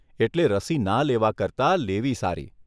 એટલે રસી ના લેવા કરતાં લેવી સારી.